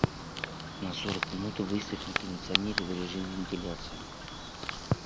на сорок минут выставь на кондиционере в режим вентиляции